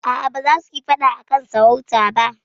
A'a, ba za su yi faɗa a kan sarauta ba.